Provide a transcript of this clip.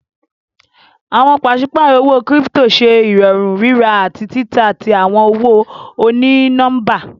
Awọn paṣipárọ̀ owó kírípítò ṣẹ irọ̀rún rírà ati tità tí awọn owó onínọ̀mbà.